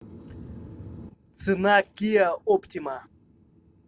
цена киа оптима